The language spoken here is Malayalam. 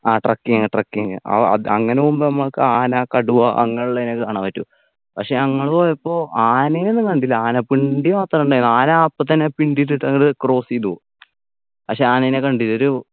ആ trekking trecking ആഹ് അത് അങ്ങനെ പോകുമ്പോ നമ്മക്ക് ആന കടുവ അങ്ങനെയുള്ളതിനൊക്കെ കാണാൻ പറ്റും പക്ഷേ ഞങ്ങൾ പോയപ്പോ ആനനെ ഒന്നും കണ്ടില്ല ആനപ്പിണ്ടി മാത്രണ്ടായിന് ആന അപ്പൊത്തന്നെ പിണ്ടി ഇട്ടിട്ടങ്ട് cross എയ്തു പക്ഷെ ആനേനെ കണ്ടില്ല ഒരു